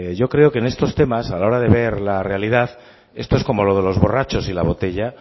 yo creo que en estos temas a la hora de ver la realidad esto es como lo de los borrachos y la botella